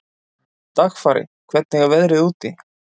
Dagfari, hvernig er veðrið úti?